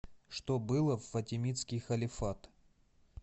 что было в фатимидский халифат